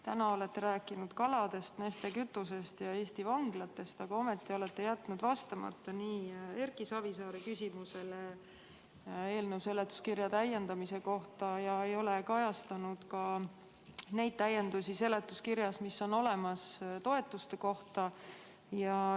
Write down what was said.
Täna olete rääkinud kaladest, Neste kütusest ja Eesti vanglatest, aga olete jätnud vastamata Erki Savisaare küsimusele eelnõu seletuskirja täiendamise kohta ega ole kajastanud neid täiendusi seletuskirjas, mis on tehtud toetuste kohta.